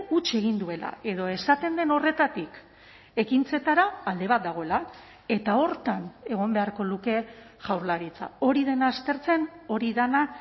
huts egin duela edo esaten den horretatik ekintzetara alde bat dagoela eta horretan egon beharko luke jaurlaritza hori dena aztertzen hori dena